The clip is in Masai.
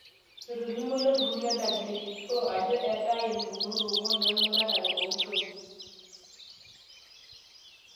etolimuo ilo turrur le WHO ajo eetai impukunot ong'wan emuratare oontoyie